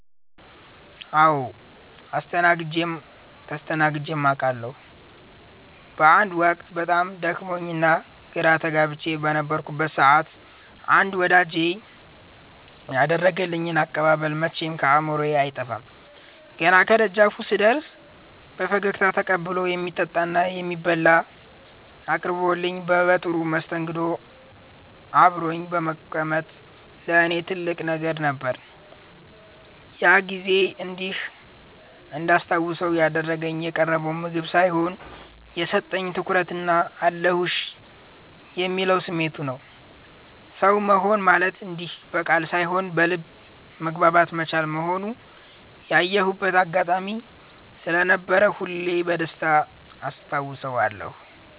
አዎ አስተናግጀም ተስተናግጀም አቃለሁ። አንድ ወቅት በጣም ደክሞኝና ግራ ተጋብቼ በነበረበት ሰዓት አንድ ወዳጄ ያደረገልኝ አቀባበል መቼም ከአእምሮዬ አይጠፋም። ገና ከደጃፉ ስደርስ በፈገግታ ተቀብሎ፣ የሚበላና የሚጠጣ አቅርቦልኝ በጥሩ መስተንግዶ አብሮኝ መቀመጡ ለእኔ ትልቅ ነገር ነበር። ያ ጊዜ እንዲህ እንዳስታውሰው ያደረገው የቀረበው ምግብ ሳይሆን፣ የሰጠኝ ትኩረትና "አለሁልሽ" የሚለው ስሜቱ ነበር። ሰው መሆን ማለት እንዲህ በቃል ሳይሆን በልብ መግባባት መቻል መሆኑን ያየሁበት አጋጣሚ ስለነበር ሁሌም በደስታ አስታውሰዋለሁ።